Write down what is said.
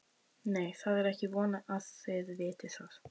Nei, það er ekki von að þið vitið það.